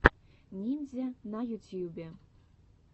ниндзя на ютьюбе